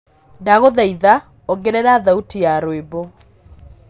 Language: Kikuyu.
ndagũthaĩtha ongerera thaũtĩ ya rwĩmbo